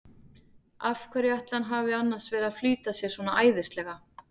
Af hverju ætli hann hafi annars verið að flýta sér svona æðislega!